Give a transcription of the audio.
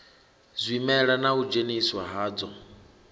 zwimela na u dzheniswa hadzwo